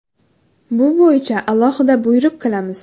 Bu bo‘yicha alohida buyruq qilamiz.